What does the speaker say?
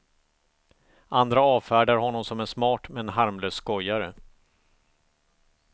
Andra avfärdar honom som en smart men harmlös skojare.